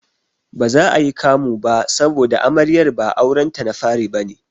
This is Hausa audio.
Baza ayi kamu ba saboda Amaryar ba aurenta na fari bane.